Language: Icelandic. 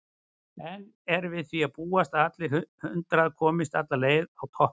En er við því að búast að allir hundrað komist alla leið á toppinn?